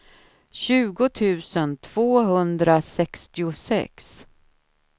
tjugo tusen tvåhundrasextiosex